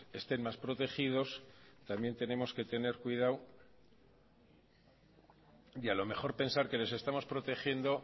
estén más protegidos también tenemos que tener cuidado y a lo mejor pensar que les estamos protegiendo